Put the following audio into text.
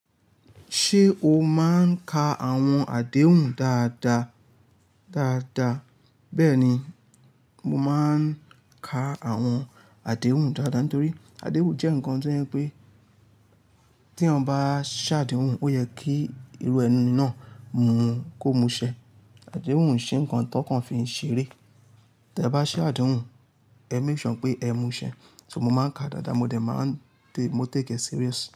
Ṣé o máa ń ka àwọn àdéhùn dáadáa? Dáadáa. Bẹ́ẹ̀ni, mo máa ń ka àwọn àdéhùn dáadáa nítorí àdéhùn jẹ́ nǹkan tó yẹ pé tí eeyan bá ṣàdéhùn ó yẹ kí irú ẹniyen náà mú kó mú ṣẹ. Àdéhùn ose nńkan tó kàn fi ń ṣeré. Tẹ bá ṣàdéhùn, ẹ make sure n pé ẹ mú ṣẹ. So mo máa ń ka dáadáa mo dẹ̀ máa ń tẹ, mo take e serious.